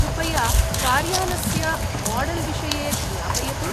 कृपया कार्यानस्य माडल्विषये ज्ञापयतु।